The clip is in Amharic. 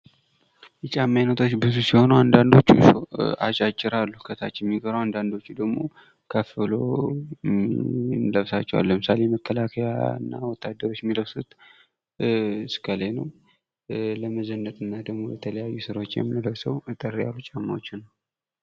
የጫማ አይነቶች ብዙ ሲሆኑ አንዳንዶቹ አጫጭር አሉ ከታች የሚቀሩ አንዳንዶቹ ደግሞ ከፍ ብለው እንለብሳቸዋልን ለምሳሌ መከላከያና ወታደሮች የሚለብሱት እስከላይ ነው ለመዘነጥና ደግሞ ለተለያዩ ስራዎች የምንለብሰው እጠር ያሉ ጫማዎች ነው ::